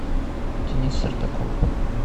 денис сартаков